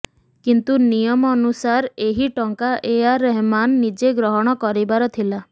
କିନ୍ତୁ ନିୟମ ଅନୁସାରେ ଏହି ଟଙ୍କା ଏଆର ରହମାନ୍ ନିଜେ ଗ୍ରହଣ କରିବାର ଥିଲା